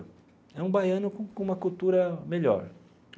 É um baiano com uma cultura melhor.